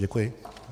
Děkuji.